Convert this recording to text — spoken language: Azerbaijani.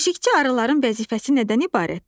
Keşiyçi arıların vəzifəsi nədən ibarətdir?